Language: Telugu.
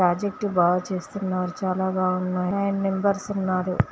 ప్రాజెక్టులు బాగా చేస్తున్నారు. చాలా బాగున్నాయి. ఫైవ్ నంబర్స్ ఉన్నారు.